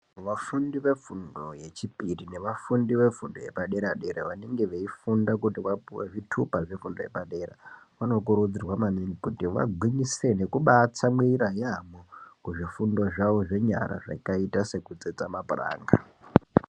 Vafundi vefundo yechipiri nevafundi vefundo yepadera-dera vanenge veifunda kuti vapuwe zvitupa zvefundo yepadera vanokurudzirwa maningi kuti vagwinyisire nekubatsamwira yaamho kuzvifundo zvavo zvakaita sekutsetsa mapuranga.